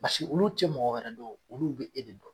Basigi olu ti mɔgɔ wɛrɛ dɔn olu be e de don